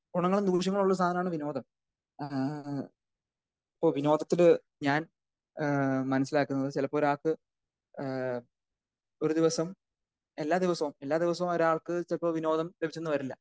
ഗുണങ്ങളും ദോഷങ്ങളും ഉള്ള ഒരു സാധനമാണ് വിനോദം. ആഹ് ആഹ് അഹ് ഇപ്പൊ വിനോദത്തിൽ ഞാൻ ഏഹ് മനസ്സിലാക്കുന്നത് ചിലപ്പോൾ ഒരാൾക്ക് ഏഹ് ഒരു ദിവസം എല്ലാ ദിവസവും എല്ലാ ദിവസവും ഒരാൾക്ക് ചിലപ്പോൾ വിനോദം ലഭിച്ചെന്ന് വരില്ല.